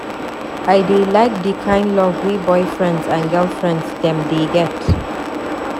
I dey like di kind love wey boyfriends and girlfriends dem dey get.